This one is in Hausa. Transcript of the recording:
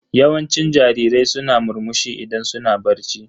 Yawancin jarirai suna murmushi idan suna barci.